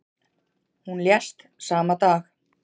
Hún lést sama dag.